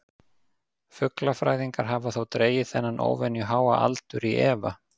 Fuglafræðingar hafa þó dregið þennan óvenju háa aldur í efa.